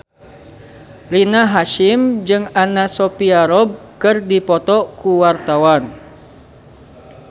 Rina Hasyim jeung Anna Sophia Robb keur dipoto ku wartawan